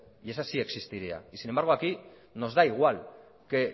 y esa sí existiría sin embargo aquí nos da igual que